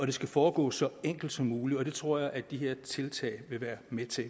det skal foregå så enkelt som muligt og det tror jeg at de her tiltag vil være med til